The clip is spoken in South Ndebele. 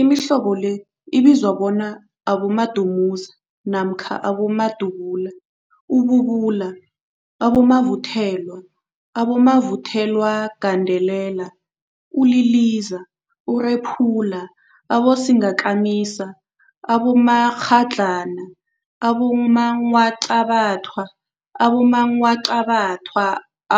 Imihlobo le ibizwa bona, abomadumuza namkha abomadubula, ububula, abomavuthelwa, abomavuthelwagandelela, uliliza, urephula, abosingakamisa, abomakghadlana, abongwaqabathwa, abongwaqabathwa